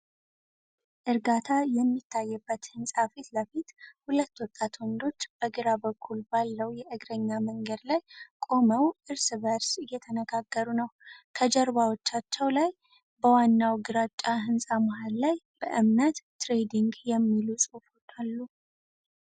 እርጋታ የሚታይበት ህንጻ ፊት ለፊት። ሁለት ወጣት ወንዶች በግራ በኩል ባለው የእግረኛ መንገድ ላይ ቆመው እርስ በእርስ እየተነጋገሩ ነው። ከጀርባዎቻቸው ላይ፣ በዋናው ግራጫ ህንጻ መሃል ላይ 'በምነት ትሬዲንግ' የሚሉ ጽሑፎ አሉ፡፡